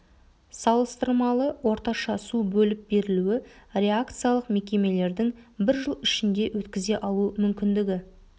салыстырмалы орташа су бөліп берілуі реакциялық мекемелердің бір жыл ішінде өткізе алу мүмкіндігі